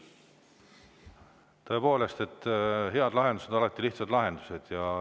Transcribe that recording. Tõepoolest, head lahendused on alati lihtsad lahendused.